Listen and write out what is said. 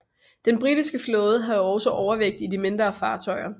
Den britiske flåde havde også overvægt i de mindre fartøjer